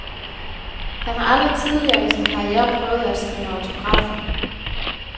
Han har aldrig tidligere i sin karriere prøvet at skrive autografer.